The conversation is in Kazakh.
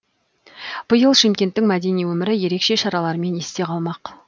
биыл шымкенттің мәдени өмірі ерекше шаралармен есте қалмақ